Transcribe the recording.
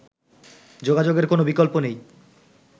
যোগাযোগের কোন বিকল্প নেই